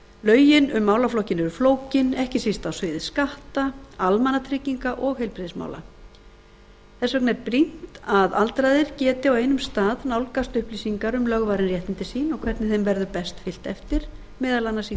lögin um málaflokkinn eru flókin ekki síst á sviði skatta almannatrygginga og heilbrigðismála þess vegna er brýnt að aldraðir geti á einum stað nálgast upplýsingar um lögvarin réttindi sín og hvernig þeim verður best fylgt eftir meðal annars í því